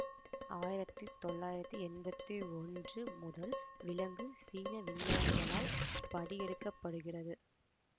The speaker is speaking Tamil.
ஆயிரத்தி தொள்ளாயிரத்தி எம்பத்தி ஒன்று முதல் விலங்கு சீன விஞ்ஞானிகளால் படி எடுக்க படுகிறது